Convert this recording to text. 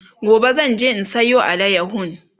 gobe zanje in Sayo alayahon